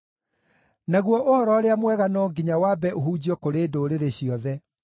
Naguo Ũhoro-ũrĩa-Mwega no nginya wambe ũhunjio kũrĩ ndũrĩrĩ ciothe.